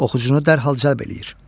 Oxucunu dərhal cəlb eləyir.